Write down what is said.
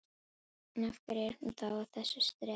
En, af hverju er hún þá að þessu streði?